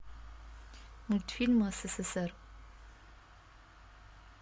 мультфильмы ссср